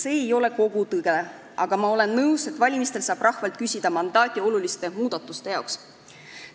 See ei ole kogu tõde, aga ma olen nõus, et valimistel saab rahvalt küsida mandaati oluliste muudatuste jaoks.